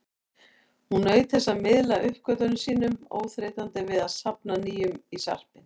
Hún naut þess að miðla uppgötvunum sínum, óþreytandi við að safna nýjum í sarpinn.